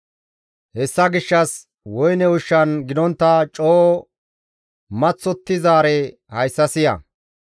Hessa gishshas woyne ushshan gidontta coo maththottizaare hayssa siya